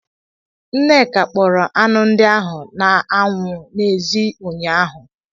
Nneka kpọrọ anụ ndị ahụ n'anwụ n'èzí ụnyaahụ.